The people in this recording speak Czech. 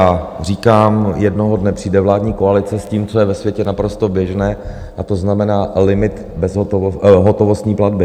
A říkám, jednoho dne přijde vládní koalice s tím, co je ve světě naprosto běžné, a to znamená limit hotovostní platby.